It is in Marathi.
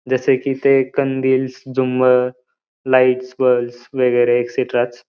जसे कि ते कंदीलस् जुमर लाइट्स बल्बस् वगैरे एक्सट्रास --